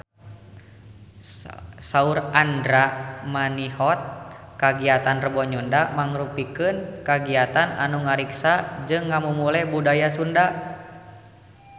Saur Andra Manihot kagiatan Rebo Nyunda mangrupikeun kagiatan anu ngariksa jeung ngamumule budaya Sunda